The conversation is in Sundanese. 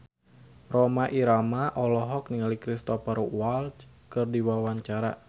Rhoma Irama olohok ningali Cristhoper Waltz keur diwawancara